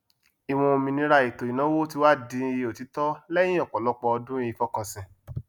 ìwọn òmìnira ètò ìnáwó tí wá di òtítọ lẹyìn ọpọlọpọ ọdún ìfọkànsìn